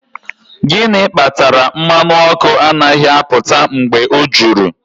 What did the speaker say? Gịnị kpatara mmanụ ọkụ anaghị apụta mgbe o juru?